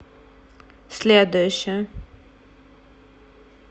следующая